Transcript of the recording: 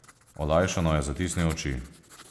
Olajšano je zatisnil oči.